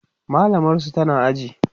mallamar su tana aji